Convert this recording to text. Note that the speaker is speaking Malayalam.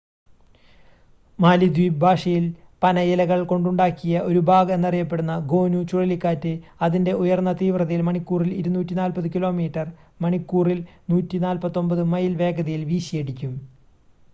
മാലിദ്വീപ് ഭാഷയിൽ പനയിലകൾ കൊണ്ടുണ്ടാക്കിയ ഒരു ബാഗ് എന്ന് അറിയപ്പെടുന്ന 'ഗോനു' ചുഴലിക്കാറ്റ് അതിന്റെ ഉയർന്ന തീവ്രതയിൽ മണിക്കൂറിൽ 240 കിലോമീറ്റർ മണിക്കൂറിൽ 149 മൈൽ വേഗതയിൽ വീശിയടിക്കും